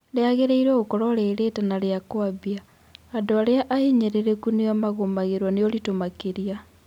Rĩagĩrĩirwo gũkorwo rĩ rĩtana rĩa kũambia: Andũ arĩa ahinyĩrĩrĩku nĩo magũmagĩrwo nĩ ũritũ makĩria.